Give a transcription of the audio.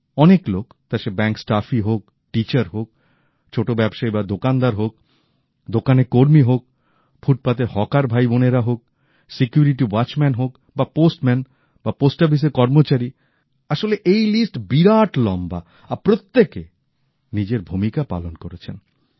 অনেক লোক তা সে ব্যাংক স্টাফই হোক টিচার হোক ছোটো ব্যবসায়ী বা দোকানদার হোক দোকানের কর্মী হোক ফুটপাথের হকার ভাই বোনেরা হোক নিরাপত্তা কর্মী হোক বা ডাক পিয়ন বা ডাকঘরের কর্মচারী আসলে এই লিস্ট বিরাট লম্বা আর প্রত্যেকে নিজের ভুমিকা পালন করেছেন